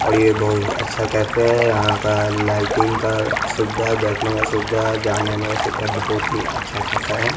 और ये बहुत अच्छा कैफे है यहां का लाइटिंग का सुविधा बैठने का सुविधा जाने आने का सुविधा बहुत ही अच्छा खासा है।